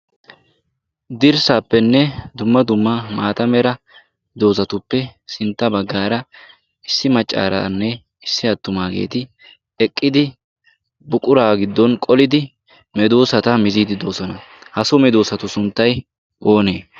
Hirssappenne dumma dumma maata mera doozatuppe sintta baggaara issi maccaaraanne issi attumaageeti eqqidi buqura giddon qolidi medoosata miziidi doosona. ha so medoosatu sunttay oonee?